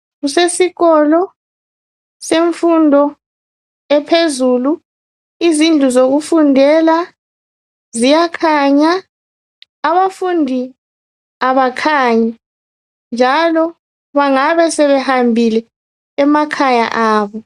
Kusesikolo , semfundo ephezulu .Izindlu zokufundela ziyakhanya , abafundi abakhanyi .Njalo bangabe sebehambile emakhaya abo.